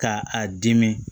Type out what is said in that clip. Ka a dimi